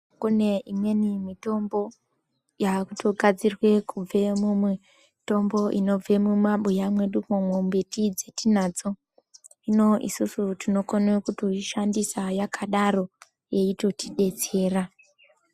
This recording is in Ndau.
Kune imweni mitombo yaaku togadzirwe kubve mumitombo inobve mumabuya mwedumo mumbiti dzetinadzo. Hino isusu tinokone kuto ishandisa yakadaro, yeito tidetsera.